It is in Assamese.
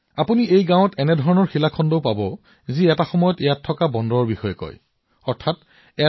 আপুনি এই গাওঁখনত এনে শিলো পাব যিয়ে ইয়াত যে কেতিয়াবা এটা ব্যস্ত বন্দৰ আছিল সেয়া প্ৰমাণ কৰে